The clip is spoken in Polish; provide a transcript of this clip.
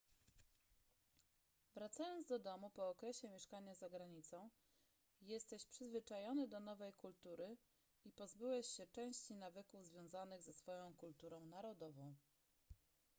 wracając do domu po okresie mieszkania za granicą jesteś przyzwyczajony do nowej kultury i pozbyłeś się części nawyków związanych ze swoją kulturą narodową